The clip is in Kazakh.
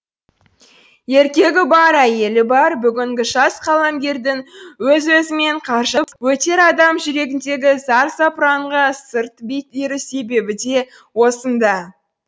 еркегі бар әйелі бар бүгінгі жас қаламгердің өз өзімен қаржып өтер адам жүрегіндегі зар запыранға сырт беру себебі де осында